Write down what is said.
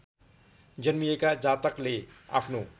जन्मिएका जातकले आफ्नो